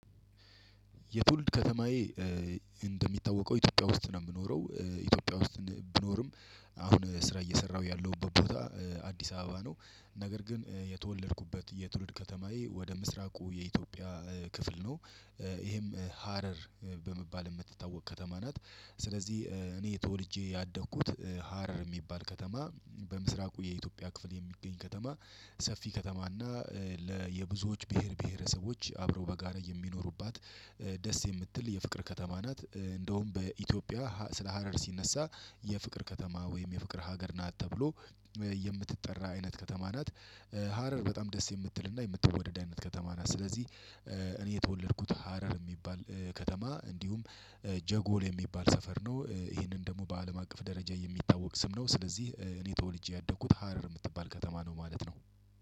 የትውልድ ከተማዬ እንደሚታወቀው ኢትዮጵያ ውስጥ ነው የምኖረው ኢትዮጵያ ውስጥ ቢኖርም አሁን ስራ እየሰራሁ ያለሁበት ቦታ አዲስ አበባ ነው። ነገር ግን የተወለድኩበት የትውልድ ከተማዬ ወደ ምስራቁ የኢትዮጵያ ክፍል ነው። ይሄም ሀረር በመባል የምትታወቅ ከተማ ናት። ስለዚህ እኔ ተወልጄ ያደግኩት ሀረር የሚባል ከተማ በምስራቁ የኢትዮጵያ ክፍል የሚገኝ ከተማ ሰፊ ከተማ እና ለየብዙዎች ብሄር ብሄረሰቦች አብረው በጋራ የሚኖሩባት ደስ የምትል የፍቅር ከተማ ናት። እንደውም በኢትዮጵያ ስለ ሀረር ሲነሳ የፍቅር ከተማ ወይም የፍቅር ሀገር ናት ተብሎ የምትጠራ አይነት ከተማ ናት። ሀረር በጣም ደስ የምትልና የምትወደድ አይነት ከተማ ናት። ስለዚህ እኔ የተወለድኩት ሀረር የሚባል ከተማ እንዲሁም ጀጎል የሚባል ሰፈር ነው። ይህንን ደግሞ በአለም አቀፍ ደረጃ የሚታወቅ ስም ነው። ስለዚህ እኔ ተወልጄ ያደግኩት ሀረር የምትባል ከተማ ነው ማለት ነው።